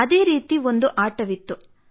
ಅದೇ ರೀತಿ ಒಂದು ಆಟವಿತ್ತು